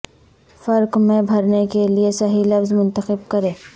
فرق میں بھرنے کے لئے صحیح لفظ منتخب کریں